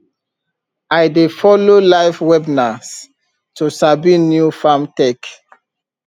i dey follow live webinars to sabi new farm tech